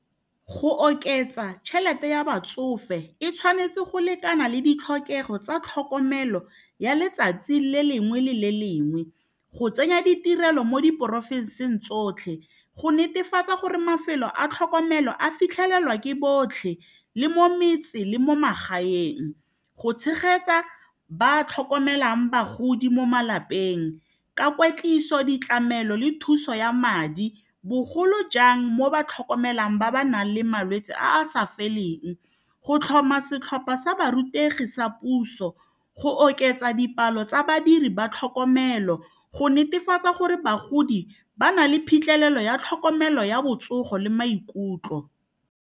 Go oketsa tšhelete ya batsofe e tshwanetse go lekana le ditlhokego tsa tlhokomelo ya letsatsi le lengwe le le lengwe go tsenya ditirelo mo diporofenseng tsotlhe go netefatsa gore mafelo a tlhokomelo a fitlhelelwa ke botlhe le mo metseng le mo magaeng go tshegetsa ba tlhokomelang bagodi mo malapeng ka kwetliso ditlamelo le thuso ya madi bogolo jang mo ba tlhokomelang ba ba nang le malwetse a a sa feleng go tlhoma setlhopha sa ba rutegi sa puso go oketsa dipalo tsa badiri ba tlhokomelo go netefatsa gore bagodi ba na le phitlhelelo ya tlhokomelo ya botsogo le maikutlo.